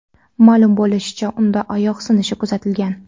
Ma’lum bo‘lishicha, unda oyoq sinishi kuzatilgan.